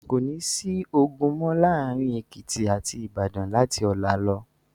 Kò ní sí ogun mọ́ láàárin Èkìtì àti Ìbàdàn láti ọ̀la lọ.